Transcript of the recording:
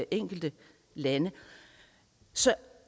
enkelte lande så